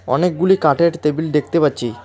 অনেকগুলি কাঠের টেবিল দেখতে পাচ্ছি।